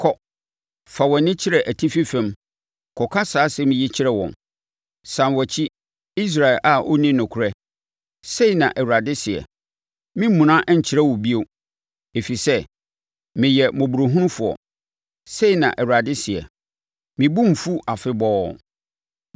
Kɔ, fa wʼani kyerɛ atifi fam kɔka saa nsɛm yi kyerɛ wɔn: “ ‘Sane wʼakyi, Israel a ɔnni nokorɛ,’ Sei na Awurade seɛ, ‘Meremmuna nkyerɛ wo bio, ɛfiri sɛ meyɛ mmɔborɔhunufoɔ,’ sei na Awurade seɛ, ‘Me bo renfu afebɔɔ.